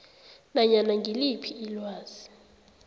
nanyana ngiliphi ilwazi